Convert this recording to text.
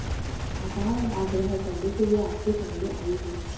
आभार और आग्रह करने के लिए आपके सामने आई हूं